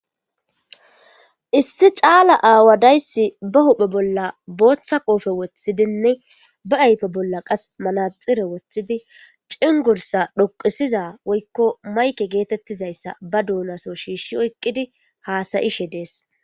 Issi caala aawa dayssi be huphe bolla booththa qoope woththidinne be ayfe bolla qas manaxire woththidi cengurssa dhoqisiza woykko mayke geetetizaysa ba doonaso shiishshi oyqidi haasa'ishe dees.